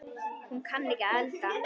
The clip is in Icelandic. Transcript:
Hún kann ekki að elda.